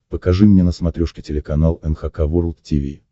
покажи мне на смотрешке телеканал эн эйч кей волд ти ви